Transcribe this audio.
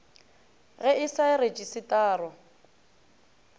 ge e se ya retšisetarwa